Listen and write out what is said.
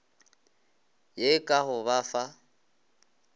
ye ka go ba fa